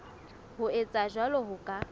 ho etsa jwalo ho ka